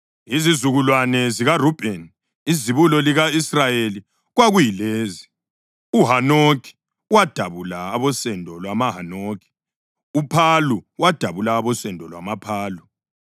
Izizukulwane zikaRubheni izibulo lika-Israyeli, kwakuyilezi: uHanokhi, wadabula abosendo lwamaHanokhi; uPhalu, wadabula abosendo lwamaPhalu;